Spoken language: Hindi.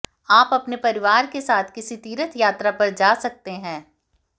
आप अपने परिवार के साथ किसी तीर्थ यात्रा पर जा सकते हैं